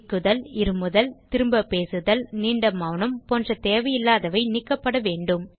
திக்குதல் இருமுதல் திரும்பப் பேசுதல் நீண்ட மெளனம் போன்ற தேவையில்லாதவை நீக்கப்படவேண்டும்